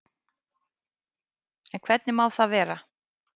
En hvernig má það vera?